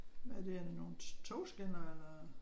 Hvad er det er det nogle togskinner eller?